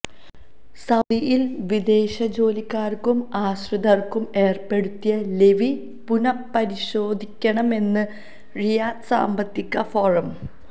സൌദിയില് വിദേശ ജോലിക്കാര്ക്കും ആശ്രിതര്ക്കും ഏര്പ്പെടുത്തിയ ലെവി പുനഃപരിശോധിക്കണമെന്ന് റിയാദ് സാമ്പത്തിക ഫോറം